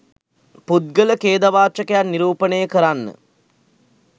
පුද්ගල ඛේදවාචකයක් නිරූපණය කරන්න